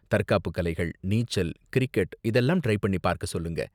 தற்காப்பு கலைகள், நீச்சல், கிரிக்கெட் இதெல்லாம் ட்ரை பண்ணி பார்க்க சொல்லுங்க.